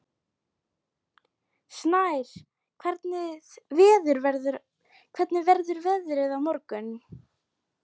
Snær, hvernig verður veðrið á morgun?